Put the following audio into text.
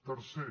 tercer